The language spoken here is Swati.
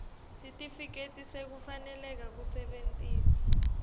sitifiketi sekufaneleka kusebentisa